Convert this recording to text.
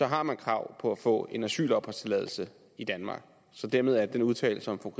har krav på at få en asylopholdstilladelse i danmark så dermed er den udtalelse som fru